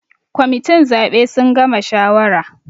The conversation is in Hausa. Members of the electoral committee have finished deciding